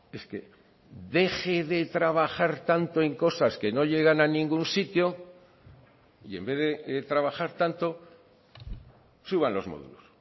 es que deje de trabajar tanto en cosas que no llegan a ningún sitio y en vez de trabajar tanto suban los módulos